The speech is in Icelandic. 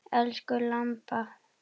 Elsku Imba.